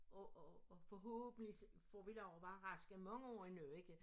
Og og forhåbentlig så får vi lov at være raske mange år endnu ikke